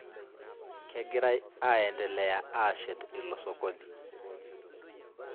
Kegirai aiendelea aashet ilo sokoni